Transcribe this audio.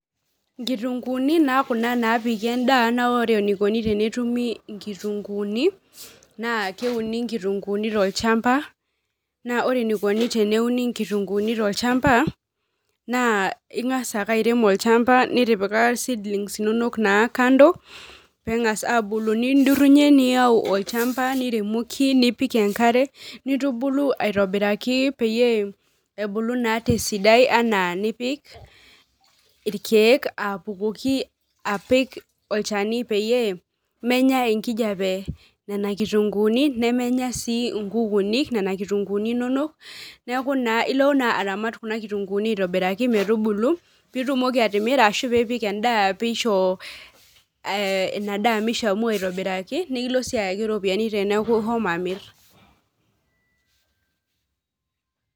Inkitunkuuni naa kuna naapiki endaa naa ore inkitunkuuni naaa keuni inkitunkuuni tolchamba naa ore eneikoni teneuni inkitunkuuni tolchamba naaa ing'as ake airem olchamba nitipika seedlings inonok kando peeng'as aaku nindurunyie niaku olchamba niremoki nipik enkare aitobiraki peyie ebulu naa tesidai enaa njpik irkiek apukoki apik irkiek peyie menya enkijiape nena kitunkuuni nemenya sii inkukunik nena kitunkuuni inonok neeku ilo aramat kuna kitunkuuni aitobiraki metubu peeitumoki atimira ashuu piipik endaa peisho ina daa meishamu aitobiraki nikilo sii ayaki iropiyiani teneku ishomo amir.